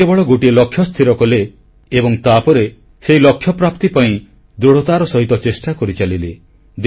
ସେ କେବଳ ଗୋଟିଏ ଲକ୍ଷ୍ୟ ସ୍ଥିରକଲେ ଏବଂ ତାପରେ ସେହି ଲକ୍ଷ୍ୟପ୍ରାପ୍ତି ପାଇଁ ଦୃଢ଼ତାର ସହିତ ଚେଷ୍ଟା କରିଚାଲିଲେ